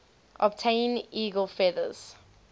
obtain eagle feathers